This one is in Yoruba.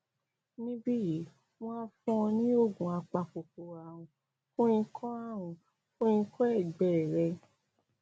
níbí yìí wọn á fún ọ ní oògùn apakòkòrò ààrùn fún ikọ ààrùn fún ikọ ẹgbẹ rẹ